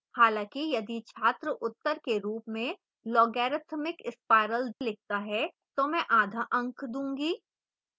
हालांकि यदि छात्र उत्तर के रूप में logarithmic spiral लिखता है तो मैं आधा अंक दूंगी